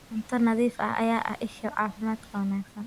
Cunto nadiif ah ayaa ah isha caafimaadka wanaagsan.